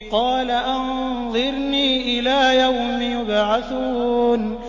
قَالَ أَنظِرْنِي إِلَىٰ يَوْمِ يُبْعَثُونَ